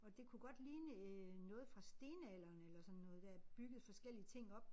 Og det kunne godt ligne øh noget fra stenalderen eller sådan noget der er bygget forskellige ting op